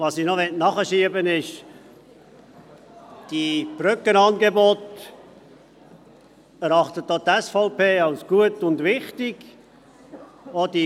Ich möchte ergänzen, dass auch die SVP die Brückenangebote als gut und wichtig erachtet.